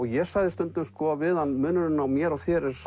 ég sagði stundum við hann munurinn á mér og þér er